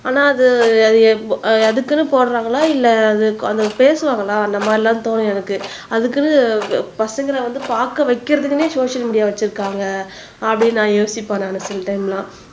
ஆனா அது அதுக்குன்னு போடுறாங்களா இல்லை அது பேசுவாங்களா அந்த மாதிரி எல்லாம் தோணும் எனக்கு அதுக்குன்னு பசங்களை வந்து பார்க்க வைக்கிறதுக்குன்னே சோசியல் மீடியா வச்சிருக்காங்க அப்படின்னு நான் யோசிப்பேன் நானு சில டைம் எல்லாம்